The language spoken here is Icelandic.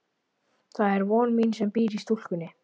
Það er von mín sem býr í stúlkunni.